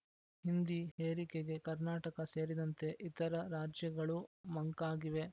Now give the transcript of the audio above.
ಹಿಂದಿ ಹೇರಿಕೆಗೆ ಕರ್ನಾಟಕ ಸೇರಿದಂತೆ ಇತರ ರಾಜ್ಯಗಳೂ ಮಂಕಾಗಿವೆ